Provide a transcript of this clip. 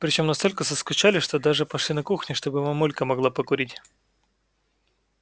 причём настолько заскучали что даже пошли на кухню чтобы мамулька могла покурить